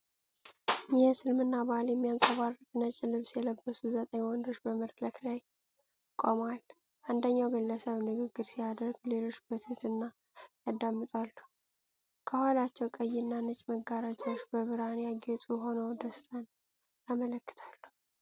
የእስልምናን ባህል የሚያንጸባርቅ ነጭ ልብስ የለበሱ ዘጠኝ ወንዶች በመድረክ ላይ ቆመዋል። አንደኛው ግለሰብ ንግግር ሲያደርግ ሌሎች በትህትና ያዳምጣሉ። ከኋላቸው ቀይና ነጭ መጋረጃዎች በብርሃን ያጌጡ ሆነው ደስታን ያመለክታሉ።